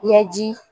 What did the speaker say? Yaji